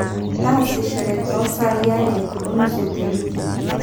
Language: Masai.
taasishore too saai are onusu tewiki